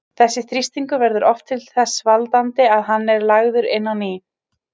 Þessi þrýstingur verður oft þess valdandi að hann er lagður inn á ný.